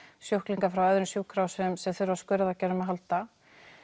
sjúklinga frá öðrum sjúkrahúsum sem þurfa á skurðaðgerðum að halda